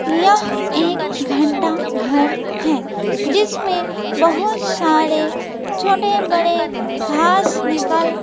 यह एक घंटा घर है जिसमें बहोत सारे छोटे बड़े घास निकाल--